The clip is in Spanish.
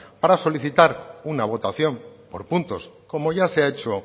para solicitar una votación por puntos como ya se ha hecho